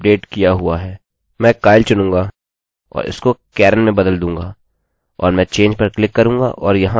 मैं kyle चुनूँगा और इसको karen में बदल दूँगा और मैं change पर क्लिक करूँगा और यहाँ सब कुछ गायब हो गया है